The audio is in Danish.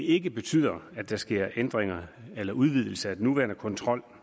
ikke betyder at der sker ændringer eller udvidelse af den nuværende kontrol